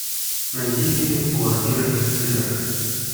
найди фильм квартира из сыра